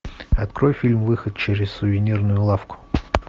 открой фильм выход через сувенирную лавку